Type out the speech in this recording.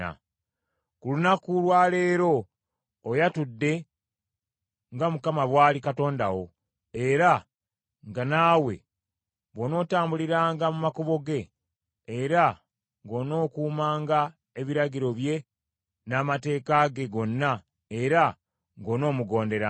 Ku lunaku lwa leero oyatudde nga Mukama bw’ali Katonda wo, era nga naawe bw’onootambuliranga mu makubo ge, era ng’onookuumanga ebiragiro bye n’amateeka ge gonna, era ng’onoomugonderanga.